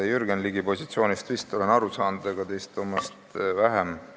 Jürgen Ligi positsioonist olen vist aru saanud, aga teiste omast vähem.